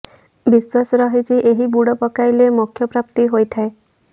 ବିଶ୍ୱାସ ରହିଛି ଏହି ବୁଡ ପକାଇଲେ ମୋକ୍ଷ ପ୍ରାପ୍ତି ହୋଇଥାଏ